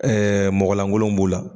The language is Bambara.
Ɛɛ mɔgɔlankolonw b'o la